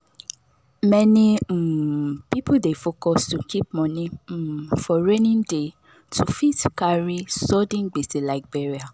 many um people dey focus to keep moni um for rainy day to fit carry sudden gbese like burial